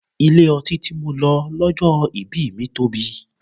Ilé ọtí tí mo lọ lọ́jọ́ ìbí mi tóbi.